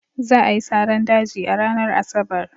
Za a yi saran daji a ranar Asabar.